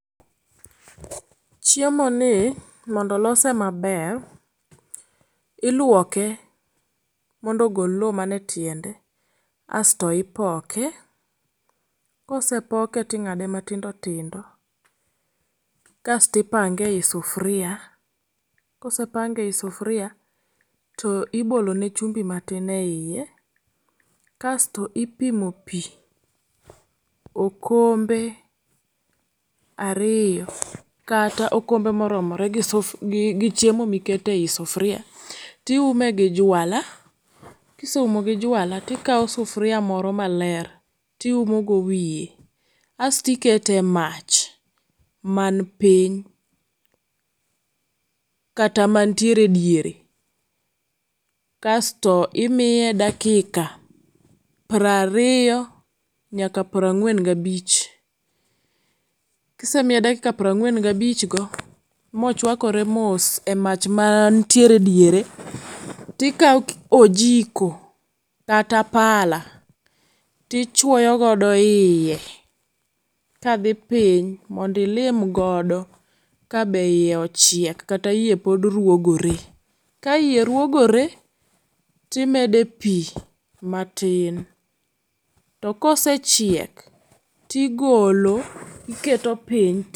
Chiemoni mondo olose maber, iluoke mondo ogol loo mane etiende asto ipoke kosepoke ting'ade matindo tindo kasto ipange eyi sufria. Kosepange eiyi sufria to ibolone chumbi matin eiye kasto ipimo pii okombe ariyo kata okombe moromoregi chiemo mikete eyi sufria tiume gi jwala, kiseumo gi jwala tikawo sufria moro maler ti uomogo wiye asto ikete mach man pin kata mantiere ediere kasto imiye dakika prariyo nyaka prang'wen gabich. Kisemiye dakika prang'wen gabichgo mochuakore mos emach mantiere ediere tikawo ojiko kata pala tichuoyo godo iye kadhi piny mondo ilim god ka be iye ochiek kata iye pod ruogore ka iye ruogore timede pii matin to kosechiek ti golo iketo piny.